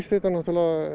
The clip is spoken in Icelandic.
þetta